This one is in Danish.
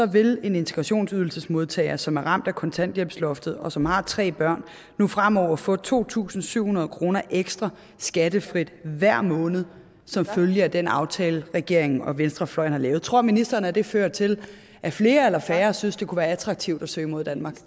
vil en integrationsydelsesmodtager som er ramt af kontanthjælpsloftet og som har tre børn nu fremover få to tusind syv hundrede kroner ekstra skattefrit hver måned som følge af den aftale regeringen og venstrefløjen har lavet tror ministeren at det fører til at flere eller færre synes det kunne være attraktivt at søge mod danmark